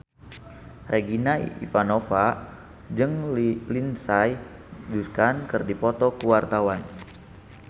Regina Ivanova jeung Lindsay Ducan keur dipoto ku wartawan